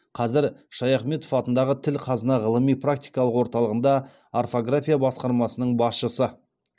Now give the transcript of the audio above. қазір шаяхметов атындағы тіл қазына ғылыми практикалық орталығында орфография басқармасының басшысы